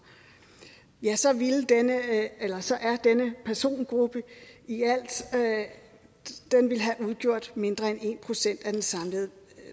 ja så ville denne persongruppe i alt have udgjort mindre end en procent af det samlede